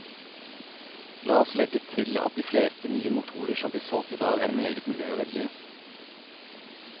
La oss legge til at de fleste nye motorer som blir solgt i dag er meget miljøvennlige.